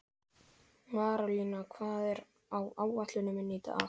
Marólína, hvað er á áætluninni minni í dag?